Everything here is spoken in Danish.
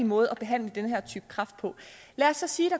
måde at behandle den her type kræft på lad os så sige